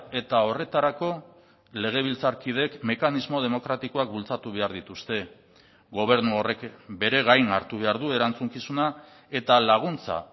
eta horretarako legebiltzarkideek mekanismo demokratikoak bultzatu behar dituzte gobernu horrek bere gain hartu behar du erantzukizuna eta laguntza